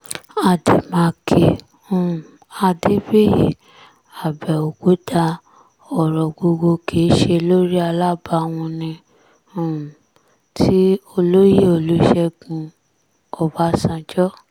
àdèmàkè um adébíyì àbẹ̀òkúta ọ̀rọ̀ gbogbo kì í ṣe lórí alábàhùn ní um ti olóyè olùṣègùn ọbásanjọ́